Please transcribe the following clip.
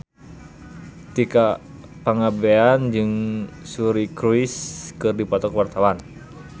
Tika Pangabean jeung Suri Cruise keur dipoto ku wartawan